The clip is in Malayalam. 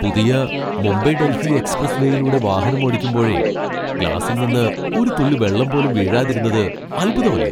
പുതിയ മുംബൈ ഡൽഹി എക്സ്പ്രസ് വേയിലൂടെ വാഹനമോടിക്കുമ്പോഴേ ഗ്ലാസിൽ നിന്ന് ഒരു തുള്ളി വെള്ളം പോലും വീഴാതിരുന്നത് അത്ഭുതമല്ലേ!